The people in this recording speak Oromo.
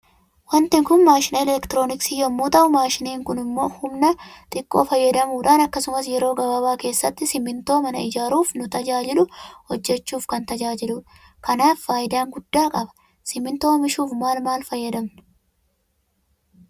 Waanti Kun maashina elektirooniksii yommuu ta'uu maashiniin kun humna xiqqoo fayyadamuudhaan akkasumas yeroo gabaaba keessatti simintoo mana ijaaaruuf nu tajaajilu hojjechuuf kan tajaajiludha. Kanaafi faayidaan guddaa qaba. Simintoo oomishuuf maal maal fayyadamna?